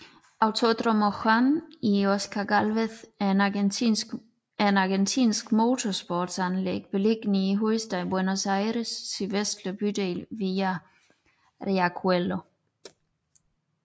Autódromo Juan y Oscar Gálvez er et argentinsk motorsportsanlæg beliggende i hovedstaden Buenos Aires sydligste bydel Villa Riachuelo